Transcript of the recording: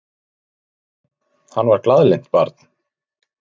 Nei, hann var glaðlynt barn.